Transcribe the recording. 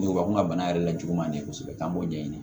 bana yɛrɛ lajugu man di kosɛbɛ an b'o ɲɛɲini